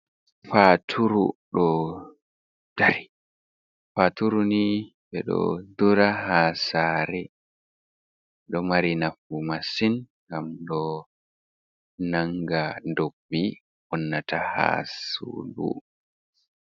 Faturu ɗo dari. Faturu ni ɓe ɗo dura ha saare, ɗo mari nafu masin ngam ɗo nanga dobbi wonnata ha sudu.